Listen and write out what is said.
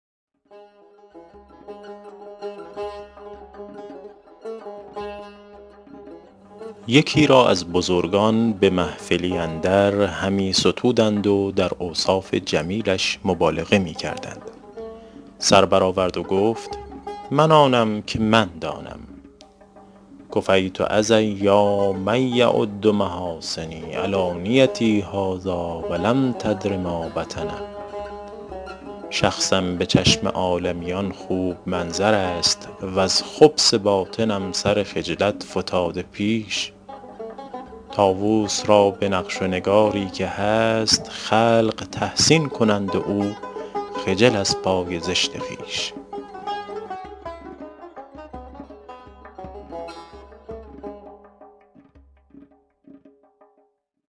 یکی را از بزرگان به محفلی اندر همی ستودند و در اوصاف جمیلش مبالغه می کردند سر بر آورد و گفت من آنم که من دانم کفیت اذی یا من یعد محاسنی علانیتی هذٰاٰ ولم تدر ما بطن شخصم به چشم عالمیان خوب منظر است وز خبث باطنم سر خجلت فتاده پیش طاووس را به نقش و نگاری که هست خلق تحسین کنند و او خجل از پای زشت خویش